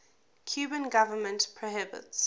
cuban government prohibits